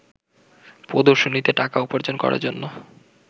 প্রদর্শনীতে টাকা উপার্জন করার জন্য